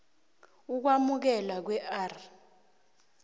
ukwamukelwa kwe r